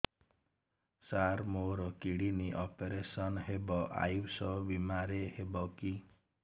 ସାର ମୋର kidney operation ହେବ ଆୟୁଷ ବିମାରେ ହେବ କି